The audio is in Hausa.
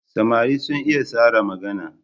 Samari sun iya tsara magana.